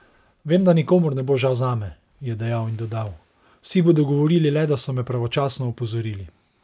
Vem, da nikomur ne bo žal zame," je dejal in dodal: "Vsi bodo govorili le, da so me pravočasno opozorili.